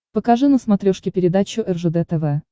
покажи на смотрешке передачу ржд тв